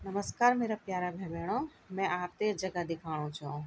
नमस्कार मेरा प्यारा भे बैणों मैं आपते य जगह दिखाणु छौं।